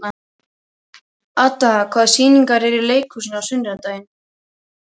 Adda, hvaða sýningar eru í leikhúsinu á sunnudaginn?